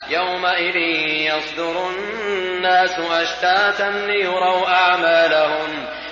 يَوْمَئِذٍ يَصْدُرُ النَّاسُ أَشْتَاتًا لِّيُرَوْا أَعْمَالَهُمْ